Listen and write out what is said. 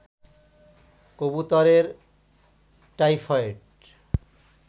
কবুতরের টাইফয়েড